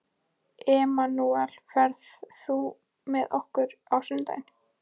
Emanúel, ferð þú með okkur á sunnudaginn?